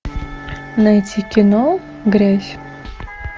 найти кино грязь